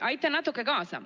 Aitan natuke kaasa.